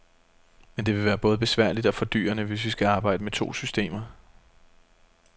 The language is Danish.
Men det vil både være besværligt og fordyrende, hvis vi skal arbejde med to systemer.